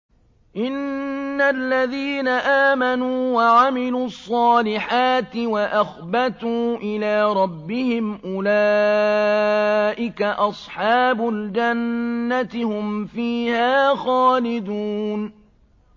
إِنَّ الَّذِينَ آمَنُوا وَعَمِلُوا الصَّالِحَاتِ وَأَخْبَتُوا إِلَىٰ رَبِّهِمْ أُولَٰئِكَ أَصْحَابُ الْجَنَّةِ ۖ هُمْ فِيهَا خَالِدُونَ